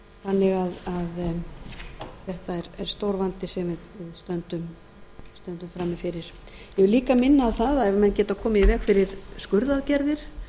þetta er stór vandi sem við stöndum frammi fyrir ég vil líka minna á það ef menn geta komið í veg fyrir skurðaðgerðir